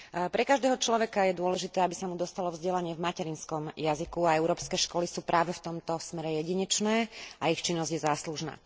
Pre každého človeka je dôležité, aby sa mu dostalo vzdelanie v jeho materinskom jazyku a európske školy sú práve v tomto smere jedinečné a ich činnosť je záslužná.